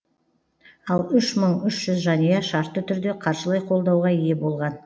ал үш мың үш жүз жанұя шартты түрде қаржылай қолдауға ие болған